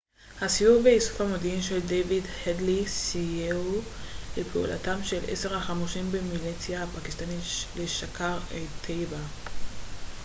הסיור ואיסוף המודיעין של דיוויד הדלי סייעו לפעולתם של 10 החמושים מהמיליציה הפקיסטנית לשקאר-א-טייבה